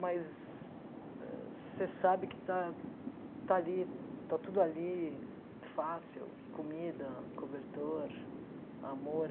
Mas ah você sabe que está está ali, está tudo ali, fácil, comida, cobertor, amor.